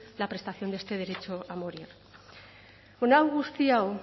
la prestación de este derecho a morir hau guztia hau